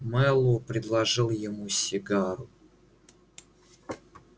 мэллоу предложил ему сигару